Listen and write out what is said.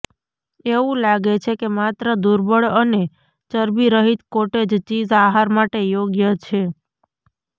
એવું લાગે છે કે માત્ર દુર્બળ અને ચરબી રહિત કોટેજ ચીઝ આહાર માટે યોગ્ય છે